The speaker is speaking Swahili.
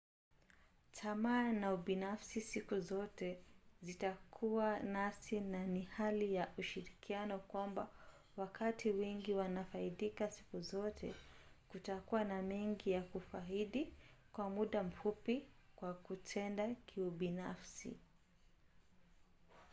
tamaa na ubinafsi siku zote zitakuwa nasi na ni hali ya ushirikiano kwamba wakati wengi wanafaidika siku zote kutakuwa na mengi ya kufaidi kwa muda mfupi kwa kutenda kiubinafsi